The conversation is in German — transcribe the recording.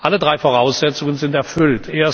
Alle drei Voraussetzungen sind erfüllt.